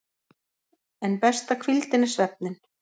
En besta hvíldin er svefninn.